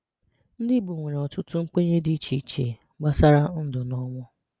Ndị Igbo nwere ọtụtụ nkwenye dị iche iche gbasara ndụ na ọnwụ.